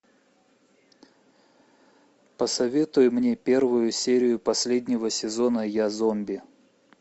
посоветуй мне первую серию последнего сезона я зомби